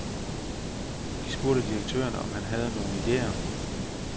De spurgte direktøren, om han havde nogle idéer.